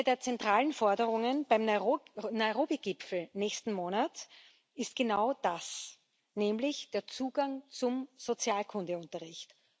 Eine der zentralen Forderungen beim Nairobi Gipfel nächsten Monat ist genau das, nämlich der Zugang zum Sexualkundeunterricht.